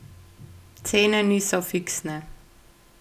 Cene niso fiksne.